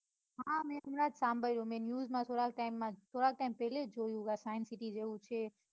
હા મેં હમણાં જ સાંભળ્યું મેં news માં થોડાક time માં થોડાક time પેલા જ જોયું આ science city જેવું છે.